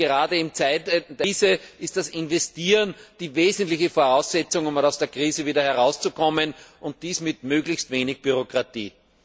Gerade in Krisenzeiten ist das Investieren die wesentliche Voraussetzung, um aus der Krise wieder herauszukommen, und dies mit möglichst wenig Bürokratie.